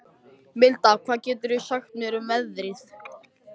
Milda, hvað geturðu sagt mér um veðrið?